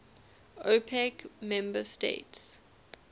opec member states